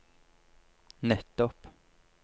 nettopp